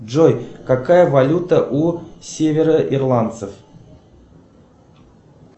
джой какая валюта у северо ирландцев